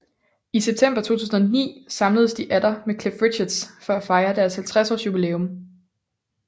I september 2009 samledes de atter med Cliff Richard for at fejre deres 50 års jubilæum